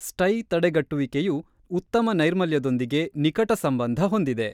ಸ್ಟೈ ತಡೆಗಟ್ಟುವಿಕೆಯು ಉತ್ತಮ ನೈರ್ಮಲ್ಯದೊಂದಿಗೆ ನಿಕಟ ಸಂಬಂಧ ಹೊಂದಿದೆ.